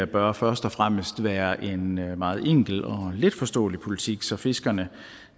bør først og fremmest være en meget enkel og letforståelig politik så fiskerne